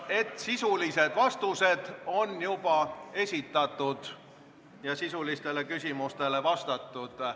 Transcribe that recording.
Sisulised vastused on juba esitatud ja sisulistele küsimustele vastatud.